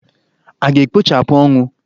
A ga-ekpochapụ ọnwụ?